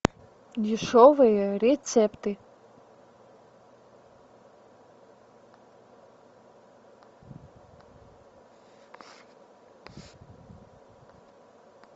дешевые рецепты